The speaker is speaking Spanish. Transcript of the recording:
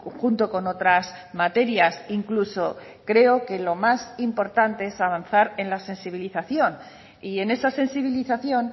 junto con otras materias incluso creo que lo más importante es avanzar en la sensibilización y en esa sensibilización